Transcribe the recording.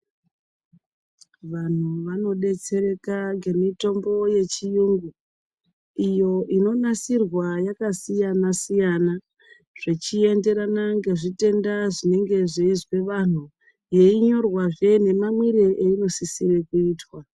Vantu vanodetsereka ngemitombo yechiyungu iyo inonasirwa yakasiyana siyana zvichienderana ngezvitenda zvinenge zveizwe vantu, yeinyorwazve nemamwire ainosisire kuitwa.